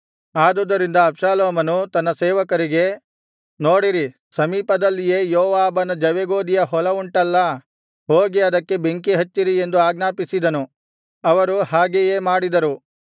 ಆದುದರಿಂದ ಅಬ್ಷಾಲೋಮನು ತನ್ನ ಸೇವಕರಿಗೆ ನೋಡಿರಿ ಸಮೀಪದಲ್ಲಿಯೇ ಯೋವಾಬನ ಜವೆಗೋದಿಯ ಹೊಲವುಂಟಲ್ಲಾ ಹೋಗಿ ಅದಕ್ಕೆ ಬೆಂಕಿ ಹಚ್ಚಿರಿ ಎಂದು ಆಜ್ಞಾಪಿಸಿದನು ಅವರು ಹಾಗೆಯೇ ಮಾಡಿದರು